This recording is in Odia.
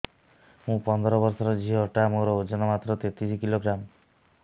ମୁ ପନ୍ଦର ବର୍ଷ ର ଝିଅ ଟା ମୋର ଓଜନ ମାତ୍ର ତେତିଶ କିଲୋଗ୍ରାମ